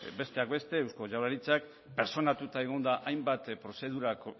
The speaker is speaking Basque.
besteak beste eusko jaurlaritzak pertsonatuta egon da hainbat prozedura